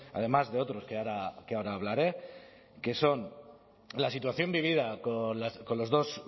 además de otros que ahora hablaré que son la situación vivida con los dos